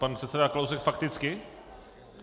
Pan předseda Kalousek fakticky?